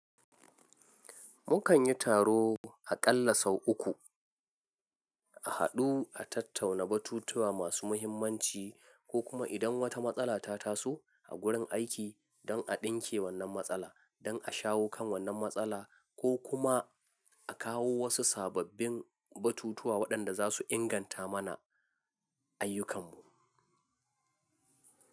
Mukan yi taro aƙalla sau uku, a haɗu a tattauna batutuwa masu muhimmanci ko kuma idan wata matsala ta taso a gurin aiki don a ɗinke wannan matsala, don a shawo kan wannan matsala ko kuma a kawo wasu sababbin batutuwa waɗanda za su inganta mana ayyukanmu.